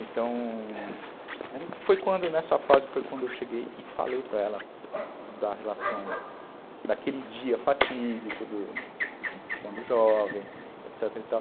Então, foi quando, nessa fase, foi quando eu cheguei e falei para ela da relação, daquele dia fatídico, do, quando jovem, etc e tal.